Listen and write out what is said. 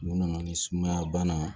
Mun nana ni sumaya bana ye